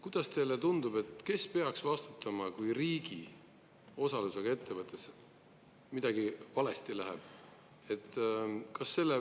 Kuidas teile tundub, kes peaks vastutama, kui riigi osalusega ettevõttes midagi valesti läheb?